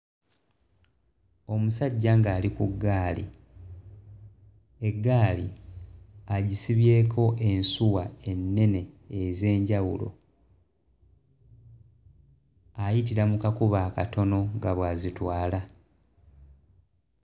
Omusajja ng'ali ku ggaali eggaali agisibyeko ensuwa ennene ez'enjawulo ayitira mu kakubo akatono nga bw'azitwala.